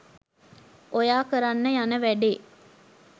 ඔයා කරන්න යන වැඬේ